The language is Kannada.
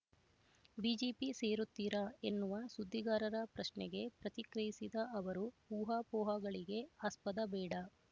ಬಿಜೆಪಿ ಸೇರುತ್ತೀರಾ ಎನ್ನುವ ಸುದ್ದಿಗಾರರ ಪ್ರಶ್ನೆಗೆ ಪ್ರತಿಕ್ರಿಯಿಸಿದ ಅವರು ಊಹಾಪೋಹಗಳಿಗೆ ಆಸ್ಪದ ಬೇಡ